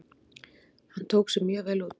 Hann tók sig mjög vel út.